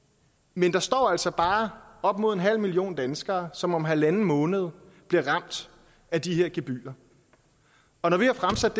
men der står altså bare op imod en halv million danskere som om halvanden måned bliver ramt af de her gebyrer og når vi har fremsat